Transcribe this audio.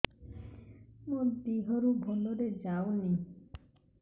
ମୋ ଦିହରୁ ଭଲରେ ଯାଉନି